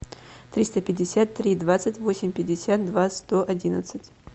триста пятьдесят три двадцать восемь пятьдесят два сто одиннадцать